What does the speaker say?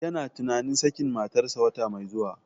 Yana tunanin sakin matarsa wata mai zuwa.